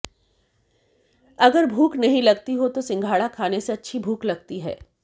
अगर भूख नहीं लगती हो तो सिंघाड़ा खाने से अच्छी भूख लगती है